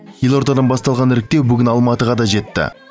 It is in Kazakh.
елордадан басталған іріктеу бүгін алматыға да жетті